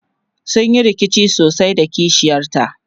sunyi rikici sosai da kishiyar ta